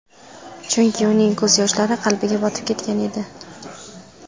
Chunki uning ko‘z yoshlari qalbiga botib ketgan edi.